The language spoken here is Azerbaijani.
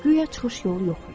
Guya çıxış yolu yox idi.